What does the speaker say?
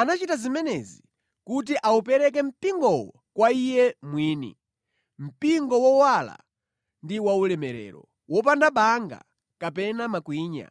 Anachita zimenezi kuti awupereke mpingowo kwa Iye mwini, mpingo wowala ndi waulemerero, wopanda banga kapena makwinya